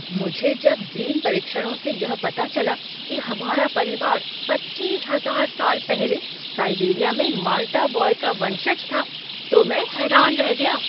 मुझे जब जीन परीक्षणों से यह पता चला कि हमारा परिवार पच्चीस हजार साल पहले साइबेरिया में माल्टा बॉय का वंशज था तो मैं हैरान रह गया।